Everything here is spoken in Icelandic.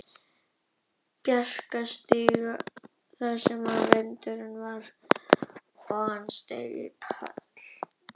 Bjarkarstíg þar sem verið var að halda upp á sameiginlegan afmælisdag tveggja stráka úr vinahópnum.